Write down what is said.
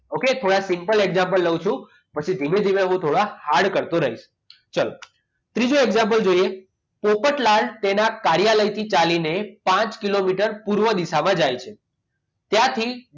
okay તો થોડાક simple example લઉં છું પછી ધીમે ધીમે હું થોડા hard કરતો રહીશ ચલો ત્રીજો example જોઈએ તો પોપટલાલ તેમના કાર્યાલયથી ચાલીને પાંચ કિલોમીટર પૂર્વ દિશામાં જાય છે ત્યારથી